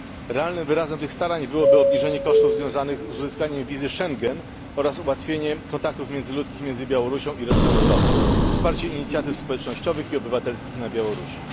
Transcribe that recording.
Realnym wyrazem tych starań byłoby obniżenie kosztów związanych z uzyskaniem wizy Schengen oraz ułatwienie kontaktów międzyludzkich między Białorusią i resztą Europy, wsparcie inicjatyw społecznościowych i obywatelskich na Białorusi.